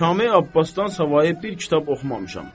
Kamil Abbasdan savayı bir kitab oxumamışam.